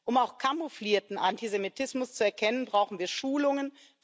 Um auch camouflierten Antisemitismus zu erkennen, brauchen wir Schulungen.